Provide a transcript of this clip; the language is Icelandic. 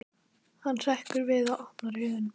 Hann hrekkur við og opnar augun.